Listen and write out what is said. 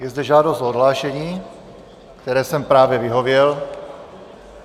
Je zde žádost o odhlášení, které jsem právě vyhověl.